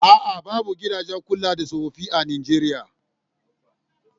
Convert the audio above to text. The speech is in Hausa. A'a, babu gidajen kula da tsofaffi a Nijeriya